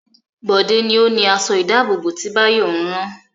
Bọ̀dé ni ó ni aṣọ-ìdáàbòbò tí Báyọ̀ ń rán.